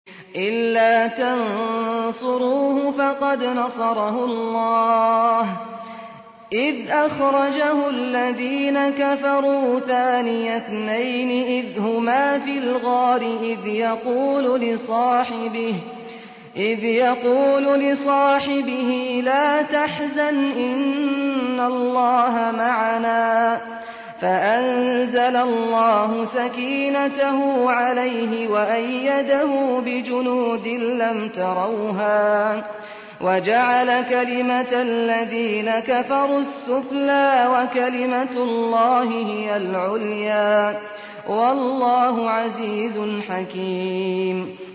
إِلَّا تَنصُرُوهُ فَقَدْ نَصَرَهُ اللَّهُ إِذْ أَخْرَجَهُ الَّذِينَ كَفَرُوا ثَانِيَ اثْنَيْنِ إِذْ هُمَا فِي الْغَارِ إِذْ يَقُولُ لِصَاحِبِهِ لَا تَحْزَنْ إِنَّ اللَّهَ مَعَنَا ۖ فَأَنزَلَ اللَّهُ سَكِينَتَهُ عَلَيْهِ وَأَيَّدَهُ بِجُنُودٍ لَّمْ تَرَوْهَا وَجَعَلَ كَلِمَةَ الَّذِينَ كَفَرُوا السُّفْلَىٰ ۗ وَكَلِمَةُ اللَّهِ هِيَ الْعُلْيَا ۗ وَاللَّهُ عَزِيزٌ حَكِيمٌ